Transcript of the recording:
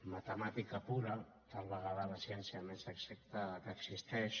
matemàtica pura tal vegada la ciència més exacta que existeix